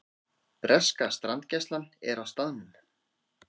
Breska strandgæslan er á staðnum